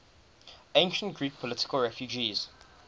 ancient greek political refugees